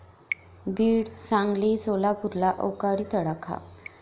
बीड, सांगली, सोलापूरला अवकाळी तडाखा